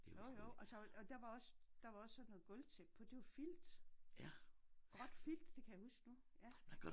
Jo jo og så og der var også der var også sådan noget gulvtæppe på det var filt. Gråt filt det kan jeg huske nu ja